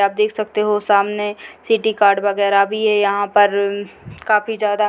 आप देख सकते हो सामने सिटी कार्ड वगैरा भी है यहां पर काफी ज्यादा --